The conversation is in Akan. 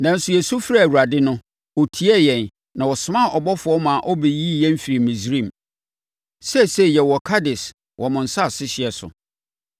Nanso, yɛsu frɛɛ Awurade no, ɔtiee yɛn na ɔsomaa ɔbɔfoɔ ma ɔbɛyii yɛn firii Misraim. “Seesei yɛwɔ Kades wɔ mo asase hyeɛ so.